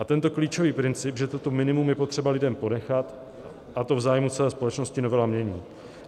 A tento klíčový princip, že toto minimum je potřeba lidem ponechat, a to v zájmu celé společnosti, novela mění.